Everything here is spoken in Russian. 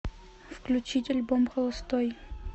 включить альбом холостой